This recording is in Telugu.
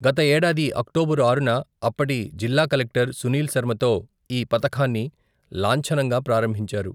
గత ఏడాది, అక్టోబరు ఆరున, అప్పటి జిల్లా కలెక్టర్ సునీల్ శర్మతో, ఈ పథకాన్ని లాంఛనంగా ప్రారంభించారు.